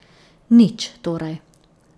Nič, torej.